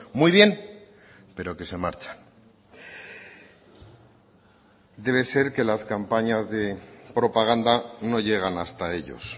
muy bien pero que se marchan debe ser que las campañas de propaganda no llegan hasta ellos